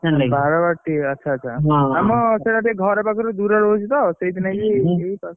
ବାରବାଟୀ ଆଚ୍ଛା ଆଚ୍ଛା ହଁ ଆମର ସେଟା ଘର ପାଖରୁ ଦୂରରେ ରହୁଛିତ ସେଇଥି ନାଇକି ଏଇ,